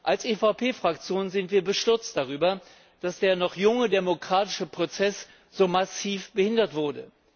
Als EVP Fraktion sind wir bestürzt darüber, dass der noch junge demokratische Prozess so massiv behindert wurde.